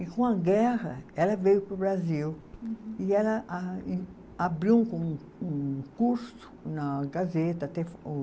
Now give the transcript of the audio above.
E, com a guerra, ela veio para o Brasil e ela a, abriu um com, um curso na Gazeta.